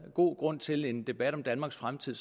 god grund til en debat om danmarks fremtid